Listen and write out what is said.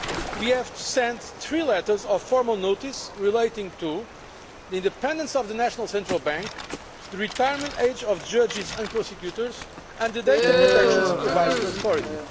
We have sent three letters of formal notice relating to the independence of the national central bank, the retirement age of judges and prosecutors and the Data Protection Supervisory Authority.